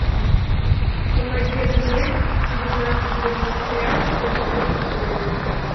помоги обменять девятнадцать бразильских реалов сколько будет стоить